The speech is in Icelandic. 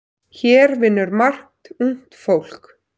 Hér vinnur margt ungt fólk.